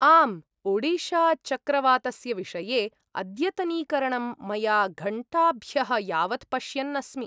आम्, ओडिशाचक्रवातस्य विषये अद्यतनीकरणं मया घण्टाभ्यः यावत् पश्यन् अस्मि।